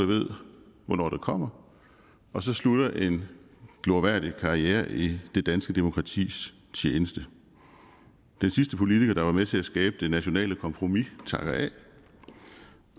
ved hvornår det kommer og så slutter en glorværdig karriere i det danske demokratis tjeneste den sidste politiker der var med til at skabe det nationale kompromis takker af